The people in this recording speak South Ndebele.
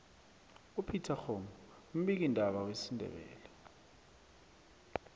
upetex kgomu mbiki ndaba wesindebele